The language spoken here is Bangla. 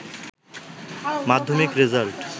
মাধ্যমিক রেজাল্ট